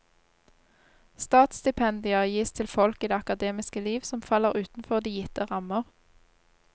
Statsstipendier gis til folk i det akademiske liv som faller utenfor de gitte rammer.